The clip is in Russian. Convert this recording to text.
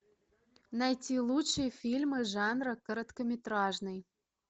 найти лучшие фильмы жанра короткометражный